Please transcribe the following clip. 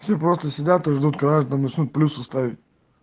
все просто сидят и ждут когда начнут плюсы ставить